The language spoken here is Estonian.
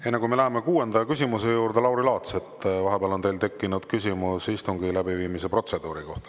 Enne kui me läheme kuuenda küsimuse juurde, Lauri Laats, teil on vahepeal tekkinud küsimus istungi läbiviimise protseduuri kohta.